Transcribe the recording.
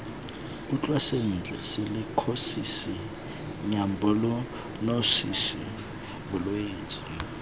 utlwe sentle silikhosisi nyumokhonosisi bolwetse